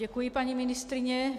Děkuji, paní ministryně.